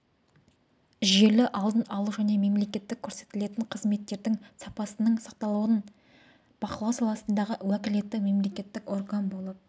жүйелі алдын алу және мемлекеттік көрсетілетін қызметтердің сапасының сақталуын бақылау саласындағы уәкілетті мемлекеттік орган болып